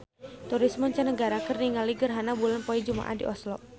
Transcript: Turis mancanagara keur ningali gerhana bulan poe Jumaah di Oslo